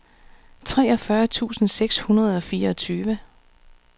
treogfyrre tusind seks hundrede og fireogtyve